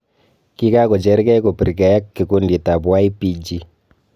Kikakochergei kopirgei ak Kikundit ap YPG.